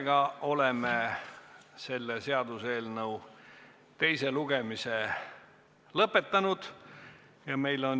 Me oleme selle seaduseelnõu teise lugemise lõpetanud.